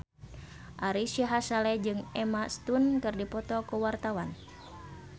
Ari Sihasale jeung Emma Stone keur dipoto ku wartawan